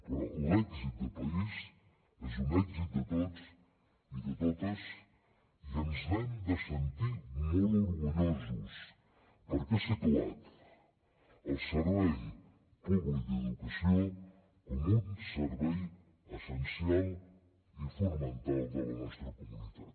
però l’èxit de país és un èxit de tots i de totes i ens n’hem de sentir molt orgullosos perquè ha situat el servei públic d’educació com un servei essencial i fonamental de la nostra comunitat